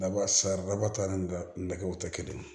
Nɛgɛw tɛ kelen ye